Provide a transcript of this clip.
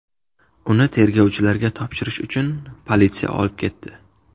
Uni tergovchilarga topshirish uchun politsiya olib ketdi.